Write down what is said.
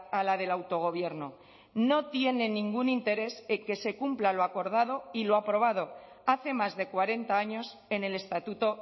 a la del autogobierno no tiene ningún interés en que se cumpla lo acordado y lo aprobado hace más de cuarenta años en el estatuto